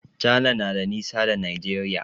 Cana na da nisa da Nigeria.